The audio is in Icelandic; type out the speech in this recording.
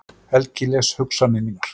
Helgi les hugsanir mínar.